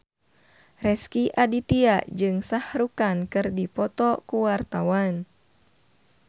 Rezky Aditya jeung Shah Rukh Khan keur dipoto ku wartawan